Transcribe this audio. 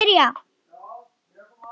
Gamla farið.